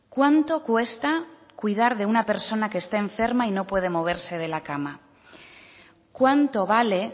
cuánto cuesta cuidar de una persona que está enferma y no puede moverse de la cama cuánto vale